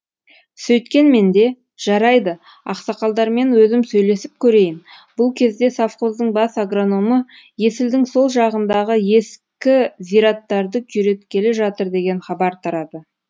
сөйткенмен де жарайды ақсақалдармен өзім сөйлесіп көрейін бұл кезде совхоздың бас агрономы есілдің сол жағындағы ескі зираттарды күйреткелі жатыр деген хабар тарады